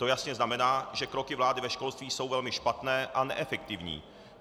To jasně znamená, že kroky vlády ve školství jsou velmi špatné a neefektivní.